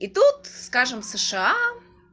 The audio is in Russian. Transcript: и тут скажем сша